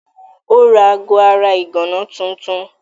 Ó ra aago ara ìgànná tuntun.